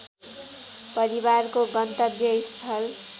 परिवारको गन्तव्यस्थल